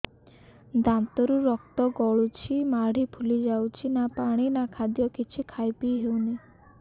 ଦାନ୍ତ ରୁ ରକ୍ତ ଗଳୁଛି ମାଢି ଫୁଲି ଯାଉଛି ନା ପାଣି ନା ଖାଦ୍ୟ କିଛି ଖାଇ ପିଇ ହେଉନି